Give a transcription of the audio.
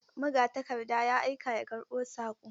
Magatakarda ya aika ya karɓo saƙo.